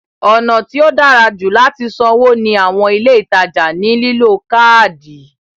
Ọ̀nà tí ó dára jù láti sanwó ní àwọn ilé ìtajà ní lílo káádì.